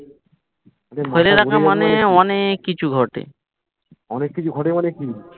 অনেক কিছু ঘটে।